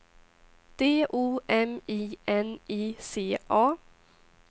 D O M I N I C A